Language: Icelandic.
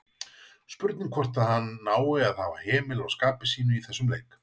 Spurning hvort að hann nái að hafa hemil á skapi sínu í þessum leik?